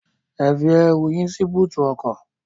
Ẹ fi ẹrù yín sí bóótù ọkọ.